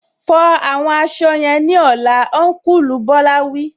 Fọ àwọn aṣọ yẹn ní ọlá, Ọnkulu Bola wí